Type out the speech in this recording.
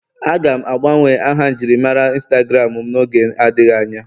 Aga m agbanwe aha njirimara Instagram m n'oge adịghị anya